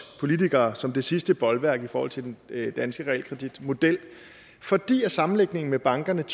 politikere som det sidste bolværk i forhold til den danske realkreditmodel fordi sammenlægningen med bankerne